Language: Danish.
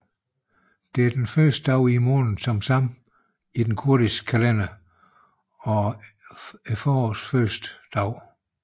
Det er den første dag i måneden Xakelêwe i den kurdiske kalender og forårets første dag